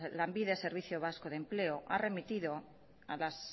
lanbide servicio vasco de empleo ha remitido a las